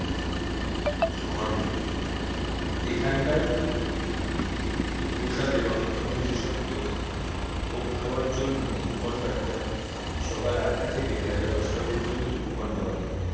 ঘন্ট এখানকার প্রসাদের অন্যতম বিশেষত ভোগ খাওয়ার জন্য কুপন কাটতে হয় সকাল আটটা থেকে বেলা দশটা পর্যন্ত কুপন পাওয়া যায়